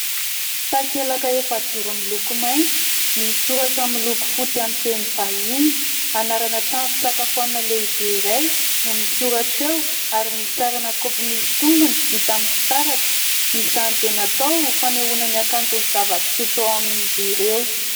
Takelaka efajoro miloko maitso, misy soratra miloko fotsy amin'ny teny vahiny, anarana trano fisakafoanana lehibe iray no misoratra eo ary misy sarina kaopy misy tongony vita amin'ny fitaratra ; izany tena atao ho fanehoana ny hakanton'ny zava-pisotro ao amin'izy ireo.